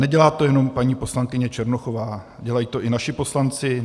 Nedělá to jenom paní poslankyně Černochová, dělají to i naši poslanci.